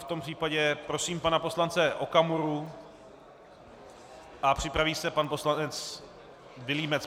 V tom případě prosím pana poslance Okamuru a připraví se pan poslanec Vilímec.